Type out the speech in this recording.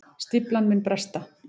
Stíflan muni bresta